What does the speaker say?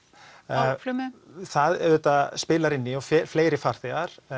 á flugmiðum það auðvitað spilar inn í fleiri farþegar